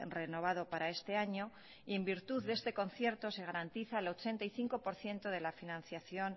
renovado para este año en virtud de este concierto se garantiza el ochenta y cinco por ciento de la financiación